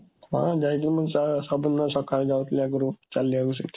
ହଁ, ଯାଇଛି, ମୁଁ ସବୁଦିନ ସକାଳୁ ଯାଏ ଆଗରୁ ଚାଲିବାକୁ ସେଇଠି।